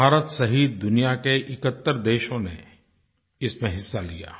भारत सहित दुनिया के 71 देशों ने इसमें हिस्सा लिया